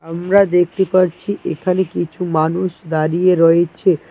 আমরা দেখতে পারছি এখানে কিছু মানুষ দাঁড়িয়ে রয়েছে।